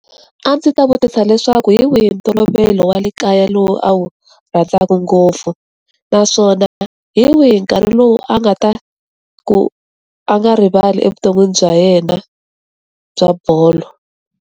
A ndzi ta vutisa leswaku hi wihi ntolovelo wa le kaya lowu a wu rhandzaka ngopfu naswona hi wihi nkarhi lowu a nga ta ku a nga rivali evuton'wini bya yena bya bolo.